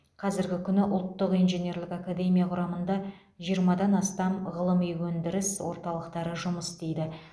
қазіргі күні ұлттық инженерлік академия құрамында жиырмадан астам ғылыми өндіріс орталықтары жұмыс істейді